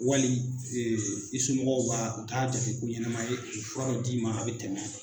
Wali i somɔgɔw b'a u t'a jate ko ɲɛnama ye u bɛ fura dɔ d'i ma a bɛ tɛmɛ.